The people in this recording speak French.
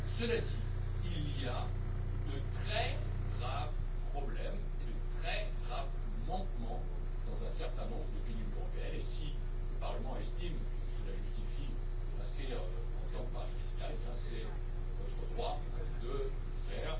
Cela dit, il y a de très graves problèmes et de très graves manquements dans un certain nombre de pays de l'Union européenne, et si le Parlement estime que cela justifie de les inscrire en tant que paradis fiscaux, c'est votre droit de le faire.